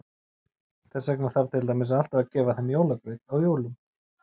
Þess vegna þarf til dæmis alltaf að gefa þeim jólagraut á jólum.